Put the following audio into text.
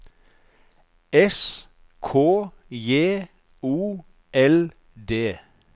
S K J O L D